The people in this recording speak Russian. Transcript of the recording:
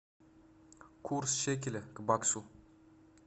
курс шекеля к баксу